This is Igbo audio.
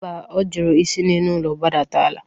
Mba, ọ jụrụ isi n'elu ụlọ gbadata ala